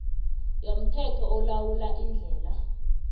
yomthetho olawula iindlela